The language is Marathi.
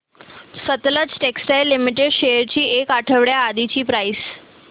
सतलज टेक्सटाइल्स लिमिटेड शेअर्स ची एक आठवड्या आधीची प्राइस